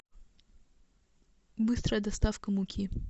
быстрая доставка муки